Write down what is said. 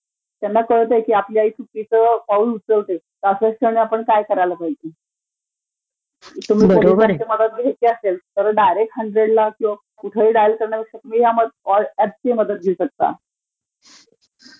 त्यांना कळतयं की आपली आई चुकीचं पाऊल उचलतेयं, तर त्याक्षणी आपणं काय करायला पाहिजे, तुम्हाला पोलिसांची मदत घ्यायची असेल तर तुम्ही डायरेक्ट हन्ड्रेडला फोन डायल करण्यापेक्षा ह्यांचीही अशी मदत घेऊ शकता.